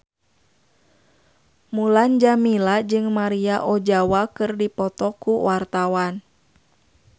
Mulan Jameela jeung Maria Ozawa keur dipoto ku wartawan